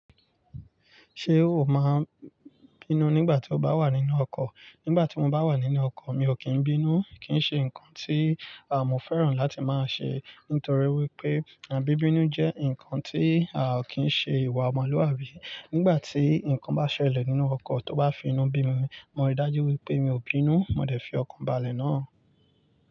Ṣé o máa ń bínú nígbà tí o bá wà nínú ọkọ̀? Nígbà tí mo bá wà nínú ọkọ̀, mi ò kí ń bínú, kì ń ṣe nǹkan tí à mọ́ fẹ́ràn láti máa ṣe, nítorí wípé àn bíbínú jẹ́ ǹkan tí a kì ń ṣe ìwà ọmọlúwàbí. Nígbà tí ǹkan bá ṣẹlẹ̀ nínú ọkọ̀ tó bá fi inú bí mi, mo rí dájú wípé mi ò bínú, mo dẹ̀ fi ọkọ̀ bàlẹ̀ náà.